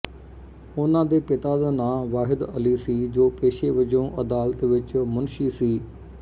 ਉਨ੍ਹਾਂ ਦੇ ਪਿਤਾ ਦਾ ਨਾਂ ਵਾਹਿਦ ਅਲੀ ਸੀ ਜੋ ਪੇਸ਼ੇ ਵਜੋਂ ਅਦਾਲਤ ਵਿੱਚ ਮੁਨਸ਼ੀ ਸੀ